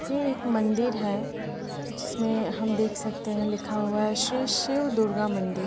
ये एक मंदीर है जिसमें हम देख सकते है लिखा हुआ है श्री शिव दुर्गा मंदिर।